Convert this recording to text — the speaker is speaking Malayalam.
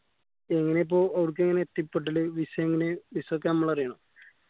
എങ്ങേനെയാ ഇപ്പൊ ഓർക്കെങ്ങനെ എത്തിപ്പെട്ടല് visa എങ്ങെനെ visa ഒക്കെ ഞമ്മള് എറിയണോ